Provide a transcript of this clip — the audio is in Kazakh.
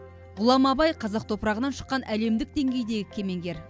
ғұлама абай қазақ топырағынан шыққан әлемдік деңгейдегі кемеңгер